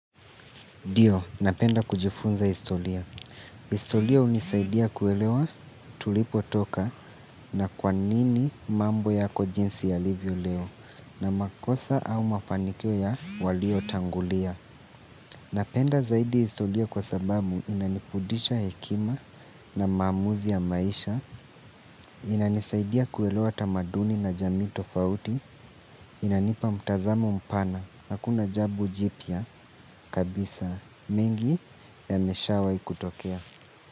Ndio, napenda kujifunza historia. Historia hunisaidia kuelewa tulipotoka na kwa nini mambo yako jinsi yalivyo leo na makosa au mafanikio ya waliotangulia. Napenda zaidi historia kwa sababu inanifudisha hekima na maamuzi ya maisha, inanisaidia kuelewa tamaduni na jamii tofauti, inanipa mtazamo mpana, hakuna jambo jipya kabisa. Mengi yameshawahi kutokea.